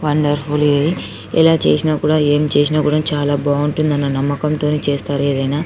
wonderful ఎలా చేసిన కూడా ఏం చేసిన కూడా చాల బావుంటుందని అనే నమ్మకం తో చేస్తారు ఏదైనా--